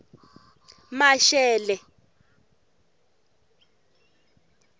mashele